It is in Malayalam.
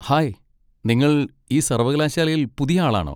ഹായ്, നിങ്ങൾ ഈ സർവ്വകലാശാലയിൽ പുതിയ ആളാണോ?